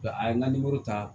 a ye n ka ta